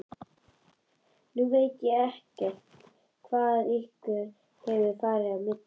Nú veit ég ekkert hvað ykkur hefur farið á milli?